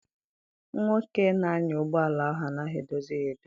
Nwoke na-anya ụgbọala ahụ anaghị edozi ụgbọala ya edozi.